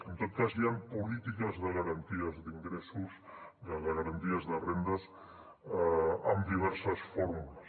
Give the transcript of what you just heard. en tot cas hi han polítiques de garanties d’ingressos de garanties de rendes amb diverses fórmules